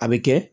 A bɛ kɛ